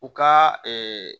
U ka